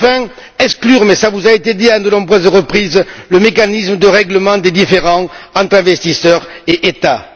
et enfin, exclure mais cela vous a été dit à de nombreuses reprises le mécanisme de règlement des différends entre investisseurs et États.